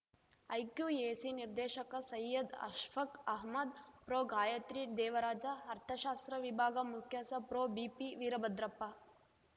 IQAC ನಿರ್ದೇಶಕ ಸೈಯದ್‌ ಅಷ್ಫಕ್‌ ಅಹಮ್ಮದ್‌ ಪ್ರೊಗಾಯತ್ರಿ ದೇವರಾಜ ಅರ್ಥಶಾಸ್ತ್ರ ವಿಭಾಗ ಮುಖ್ಯಸ್ಥ ಪ್ರೊಬಿಪಿವೀರಭದ್ರಪ್ಪ